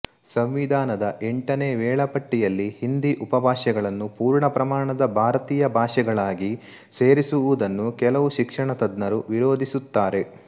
ಸಂವಿಧಾನದ ಎಂಟನೇ ವೇಳಾಪಟ್ಟಿಯಲ್ಲಿ ಹಿಂದಿ ಉಪಭಾಷೆಗಳನ್ನು ಪೂರ್ಣ ಪ್ರಮಾಣದ ಭಾರತೀಯ ಭಾಷೆಗಳಾಗಿ ಸೇರಿಸುವುದನ್ನು ಕೆಲವು ಶಿಕ್ಷಣ ತಜ್ಞರು ವಿರೋಧಿಸುತ್ತಾರೆ